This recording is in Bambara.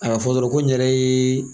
A ka fɔ dɔrɔn ko n yɛrɛ ye